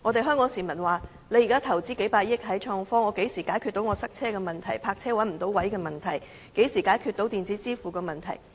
香港市民問，現時投資數百億元在創科上，那麼何時可以解決堵車的問題、泊車找不到車位的問題、電子支付的問題？